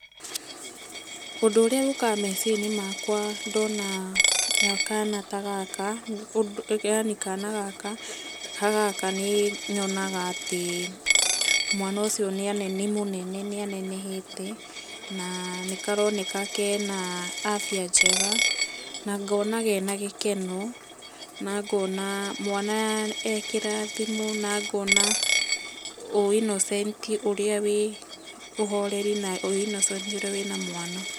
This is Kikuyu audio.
Ũndũ ũrĩa ũkaga meciria-inĩ makwa ndona kana ta gaka yani kana gaka ta gaka nĩ nyonaga atĩ, mwana ũcio nĩ mũnene nĩ anene hete na, nĩ karoneka kena afia njega, na ngona kena gĩkeno, na ngona mwana e kĩrathimo, na ngona ũinocenti ũrĩa wĩ, ũinocenti na ũhoreri ũrĩa wĩna mwana.